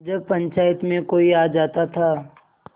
जब पंचायत में कोई आ जाता था